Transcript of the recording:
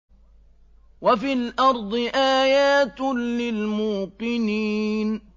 وَفِي الْأَرْضِ آيَاتٌ لِّلْمُوقِنِينَ